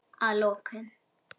Að lokum.